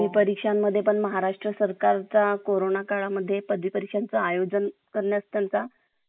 घरातील वडिल किवा आपल्या भावंडाच्या मदतीने मुलाखतीत विचारलेल सामान्य प्रश्नांची तयारी करा. त्यांना मुलाखतकार बनवा आणि त्यांच्या प्रश्नांची उत्तरे द्या